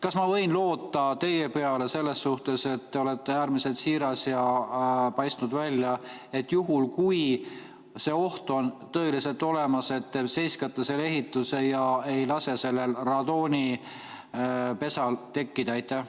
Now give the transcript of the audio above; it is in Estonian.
Kas ma võin loota teie peale selles suhtes, te olete äärmiselt siiras ja paistnud välja, et juhul, kui see oht on tõeliselt olemas, te seiskate selle ehituse ega lase sellel radoonipesal tekkida?